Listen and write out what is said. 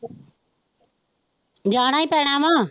ਜਾਣਾ ਹੀ ਪੈਣਾ ਵਾ।